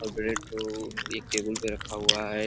और ब्रेड को एक टेबुल पे रखा हुआ है।